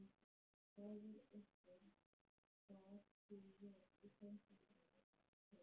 Faðir okkar bar sig vel í fangelsinu að sögn.